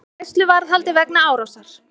Í gæsluvarðhaldi vegna árásar